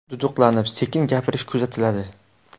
Duduqlanib, sekin gapirish kuzatiladi.